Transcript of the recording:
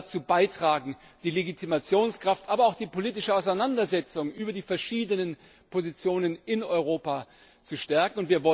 All das wird dazu beitragen, die Legitimationskraft, aber auch die politische Auseinandersetzung über die verschiedenen Positionen in Europa zu stärken.